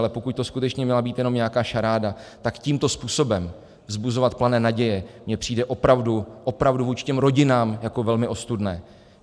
Ale pokud to skutečně měla být jenom nějaká šaráda, tak tímto způsobem vzbuzovat plané naděje mi přijde opravdu, opravdu vůči těm rodinám jako velmi ostudné.